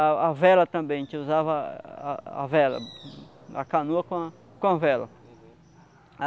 A a vela também, a gente usava a a a vela, a canoa com a com a vela. Uhum